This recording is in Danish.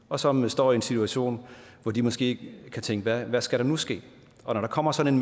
og som står i en situation hvor de måske tænker hvad skal der nu ske og når der kommer sådan